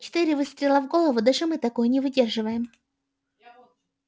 четыре выстрела в голову даже мы такое не выдерживаем